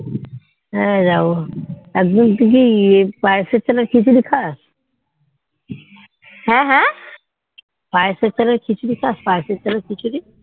হ্যাঁ যাবো একদিন তুই কি পায়েস এর চাল এর খিচুড়ি খাস পায়েস এর চালের খিচুড়ি খাস পায়েস এর চাল এর খিচুড়ি